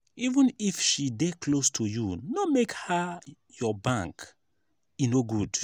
even if she dey close to you no make her your bank. e no good.